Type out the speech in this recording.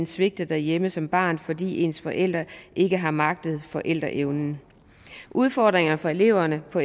svigtet derhjemme som barn fordi ens forældre ikke har magter forældrerollen udfordringerne for eleverne på